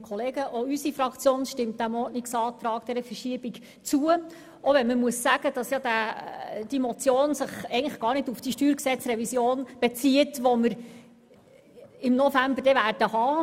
Auch unsere Fraktion stimmt diesem Ordnungsantrag zu, auch wenn sich diese Motion eigentlich nicht auf die Steuergesetzrevision bezieht, die wir im November diskutieren werden.